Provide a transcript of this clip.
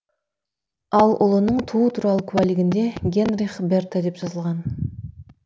ал ұлының туу туралы куәлігінде генрих берте деп жазылған